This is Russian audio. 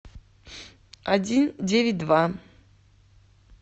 один девять два